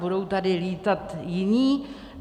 Budou tady lítat jiní?